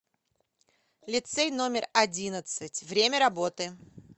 лицей номер одиннадцать время работы